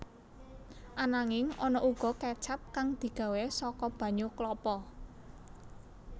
Ananging ana uga kécap kang digawé saka banyu klapa